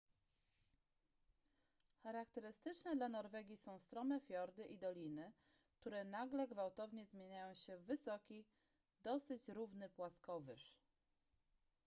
charakterystyczne dla norwegii są strome fiordy i doliny które nagle gwałtownie zmieniają się w wysoki dosyć równy płaskowyż